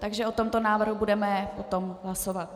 Takže o tomto návrhu budeme potom hlasovat.